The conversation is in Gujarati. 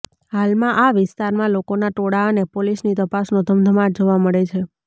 હાલમાં આ વિસ્તારમાં લોકોના ટોળા અને પોલીસની તપાસનો ધમધમાટ જોવા મળે છે